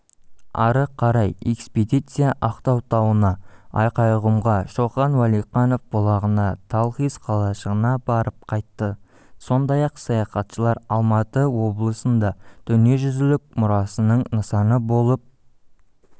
ары қарай экспедиция ақтау тауына айғайқұмға шоқан уәлиханов бұлағына талхиз қалашығына барып қайтты сондай-ақ саяхатшылар алматы облысында дүниежүзілік мұрасының нысаны болып